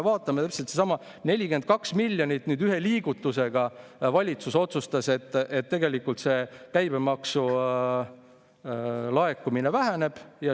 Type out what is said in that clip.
Täpselt seesama: 42 miljonit ühe liigutusega valitsus otsustas, et käibemaksu laekumine väheneb.